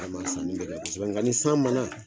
Ala ma sani kɛ kosɛbɛ ka ni san ma na.